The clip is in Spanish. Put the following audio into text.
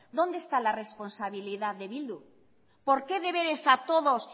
dónde está la responsabilidad de bildu por qué deberes a todos